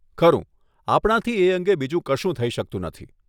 ખરું, આપણાથી એ અંગે બીજું કશું થઇ શકતું નથી.